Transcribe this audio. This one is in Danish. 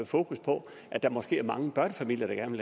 fokus på at der måske er mange børnefamilier der gerne